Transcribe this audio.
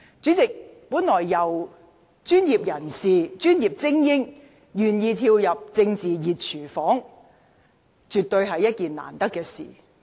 主席，專業精英人士願意跳入政治"熱廚房"，絕對是一件難得的事。